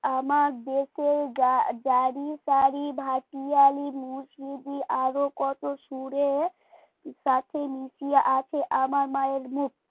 আমার দেশের গাড়ি টারি ভাটিয়ালি আরো কত সুরে সাথে মিশাইয়া আছে আমার মায়ের মুখ